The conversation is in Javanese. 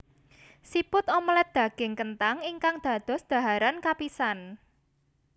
Siput omelet daging kenthang ingkang dados dhaharan kapisan